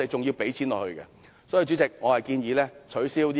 因此，主席，我建議取消這項撥款。